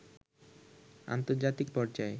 আন্তর্জাতিক পর্যায়ে